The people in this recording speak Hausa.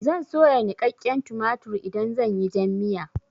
Zan soya niƙaƙƙen tumatur idan zan yi jan miya.